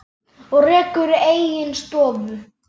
og rekur eigin stofu.